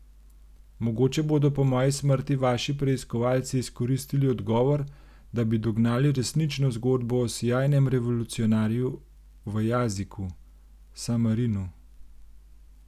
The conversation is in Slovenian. Mogoče bodo po moji smrti vaši preiskovalci izkoristili odgovor, da bi dognali resnično zgodbo o sijajnem revolucionarju v Jaziku, Samarinu.